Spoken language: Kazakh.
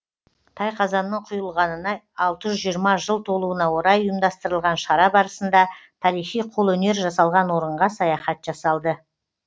тайқазанның құйылғанына алты жүз жиырма жыл толуына орай ұйымдастырылған шара барысында тарихи қолөнер жасалған орынға саяхат жасалды